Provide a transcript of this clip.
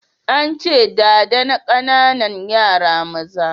An ce, ɗada na ƙananan yara maza